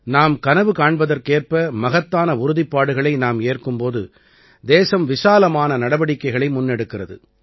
நாம் கனவு காண்பதற்கேற்ப மகத்தான உறுதிப்பாடுகளை நாம் ஏற்கும் போது தேசம் விசாலமான நடவடிக்கைகளை முன்னெடுக்கிறது